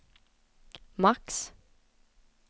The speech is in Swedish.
max